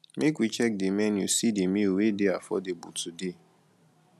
make we check di menu see di meal wey dey affordable today